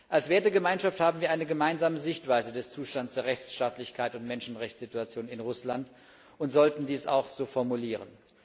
Als Wertegemeinschaft haben wir eine gemeinsame Sichtweise des Zustands der Rechtsstaatlichkeit und Menschenrechtssituation in Russland und sollten dies auch so formulieren.